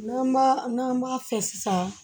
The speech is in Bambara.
N'an b'a n'an b'a fɛ sisan